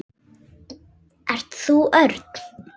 Ert þú Örn?